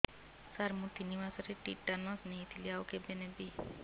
ସାର ମୁ ତିନି ମାସରେ ଟିଟାନସ ନେଇଥିଲି ଆଉ କେବେ ନେବି